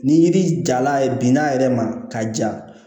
Ni yiri jala ye binna a yɛrɛ ma ka ja